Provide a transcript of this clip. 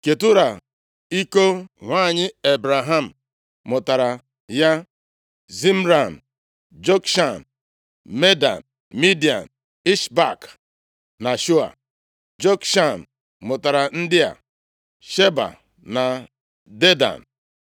Ketura, iko nwanyị Ebraham, mụtaara ya Zimran, Jokshan, Medan, Midian, Ishbak na Shua. Jokshan mụtara ndị a: Sheba na Dedan.